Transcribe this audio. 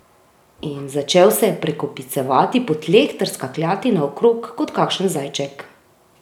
In začel se je prekopicevati po tleh ter skakljati naokrog kot kakšen zajček.